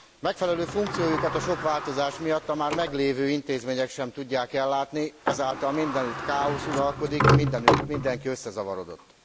Megfelelő funkciójukat a sok változás miatt a már meglévő intézmények sem tudják ellátni, ezáltal mindenütt káosz uralkodik, mindenki összezavarodott.